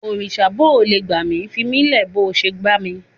Òrìsà bóò le gbà mí, fimílẹ̀ bó o ṣe bá mi.